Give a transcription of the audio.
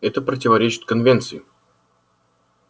это противоречит конвенции